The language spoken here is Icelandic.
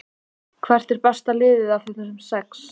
Hvert er besta liðið af þessum sex?